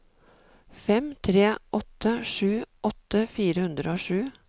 fem tre åtte sju åtti fire hundre og sju